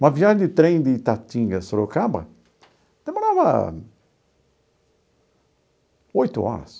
Uma viagem de trem de Itatinga a Sorocaba demorava oito horas.